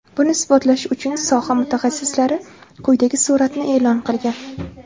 Buni isbotlash uchun soha mutaxassislari quyidagi suratni e’lon qilgan.